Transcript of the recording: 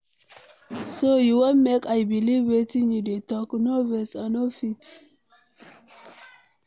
So you wan make I believe wetin you dey talk. No vex, I no fit.